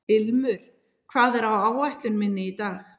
Ilmur, hvað er á áætluninni minni í dag?